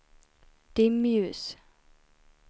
dimljus